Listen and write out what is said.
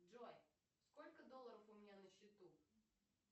джой сколько долларов у меня на счету